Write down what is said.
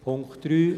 Punkt 3